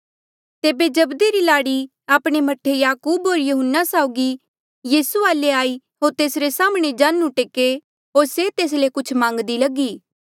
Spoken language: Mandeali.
तेबे जब्दी री लाड़ी आपणे मह्ठे याकूब होर यहून्ना साउगी यीसू वाले आई होर तेसरे साम्हणें जांढू टेके होर से तेस ले कुछ मांग्दी लगी